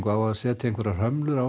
á að setja hömlur á